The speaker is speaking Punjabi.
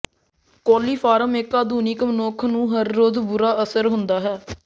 ਕੋਲੀਫਾਰਮ ਇੱਕ ਆਧੁਨਿਕ ਮਨੁੱਖ ਨੂੰ ਹਰ ਰੋਜ਼ ਬੁਰਾ ਅਸਰ ਹੁੰਦਾ ਹੈ